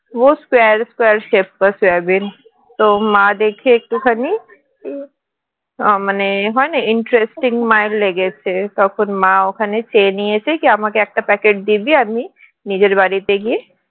square square shape সয়াবিন তো মা দেখে একটুখানি মানে হয়না interesting মায়ের লেগেছে তখন মা ওখানে চেয়ে নিয়েছে কি আমাকে একটা packet দিবি আমি নিজের বাড়িতে গিয়ে